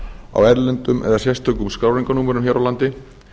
á erlendum eða sérstökum skráningarnúmerum hér á landi